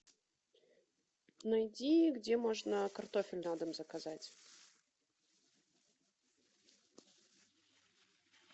найди где можно картофель на дом заказать